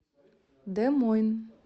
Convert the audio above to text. де мойн